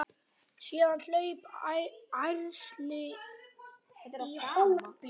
Síðan hlaupa ærsli í hópinn.